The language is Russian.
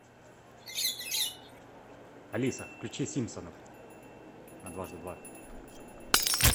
алиса включи симпсонов на дважды два